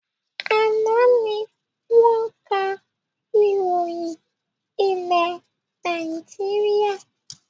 Àná ni wọn ká ìròyìn ilé Nàìjíríà